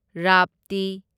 ꯔꯥꯞꯇꯤ